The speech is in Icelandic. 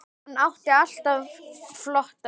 Hann átti alltaf flotta bíla.